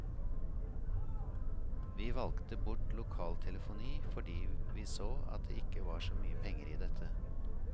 Vi valgte bort lokaltelefoni fordi vi så at det ikke var så mye penger i dette.